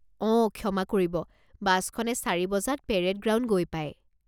অ' ক্ষমা কৰিব বাছখনে চাৰি বজাত পেৰেড গ্ৰাউণ্ড গৈ পায়।